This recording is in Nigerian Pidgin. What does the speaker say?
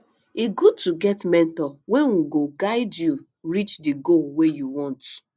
e good to get mentor wey um go guide you reach di goal wey you want